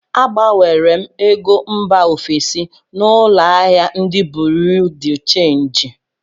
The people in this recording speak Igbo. Agbanwere m ego mba ofesi na ụlọ ahịa ndị buriu di chenji